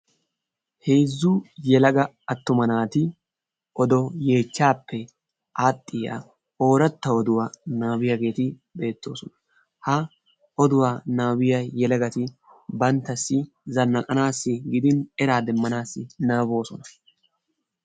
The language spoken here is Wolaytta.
Heezzu yelaga attuma naati odo yeechchappe aaxxiyaa ooratta oduwa nababbiyaageeti beettoosona. Ha oduwa nabbabiya yelegati banttassi zanaqqanassi gidin eraa demmanaassi nababboosona.